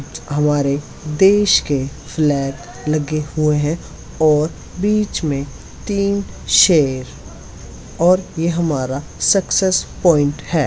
हमारे देश के फ्लैग लगे हुए हैं और बीच में तीन शेर और ये हमारा सक्सेस पॉइंट है।